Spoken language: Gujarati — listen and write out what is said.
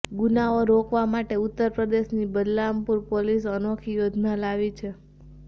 ગુનાઓ રોકવા માટે ઉત્તર પ્રદેશની બલરામપુર પોલીસ અનોખી યોજના લાવી છે